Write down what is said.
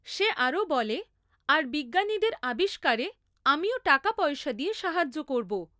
সে আরও বলে, আর বিজ্ঞানীদের আবিষ্কারে আমিও টাকাপয়সা দিয়ে সাহায্য করব।